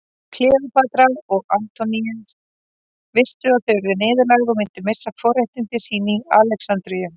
Kleópatra og Antoníus vissu að þau yrðu niðurlægð og myndu missa forréttindi sín í Alexandríu.